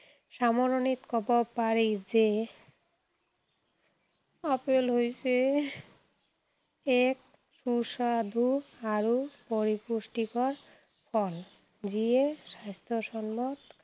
সামৰণিত কব পাৰি যে আপেল হৈছে এক সুস্বাদু আৰু পৰিপুষ্টিকৰ ফল। যিয়ে স্বাস্থ্য়সন্মত